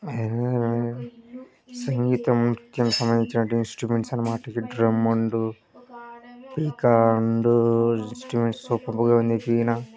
సంగీతం సంబంధించిన ఇన్స్ట్రుమెంట్స్ అన్నమాట ఇవి .డ్రం అండ్ ఇంకా ఇన్స్ట్రుమెంట్స్ సూపర్ బుల్ గా ఉంది.